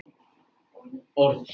Var þetta kveðjustundin?